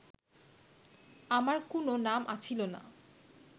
আমার কুনো নাম আছিল না